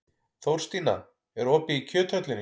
Þórstína, er opið í Kjöthöllinni?